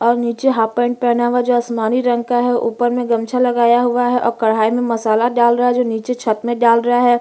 और नीचे half pant पहना हुआ है जो आसमानी रंग का है ऊपर में गमछा लगाया हुआ है और कढ़ाई में मसाला डाल रहा है जो नीचे छत में डाल रहा है।